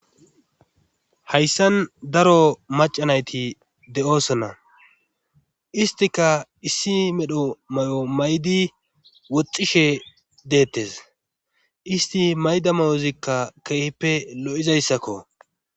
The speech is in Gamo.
Hayssan daro macanayti de'osona istika issi medho may'o maydi woxxishe deettes isti mayda mayozikka keehippe lo'izayssakko.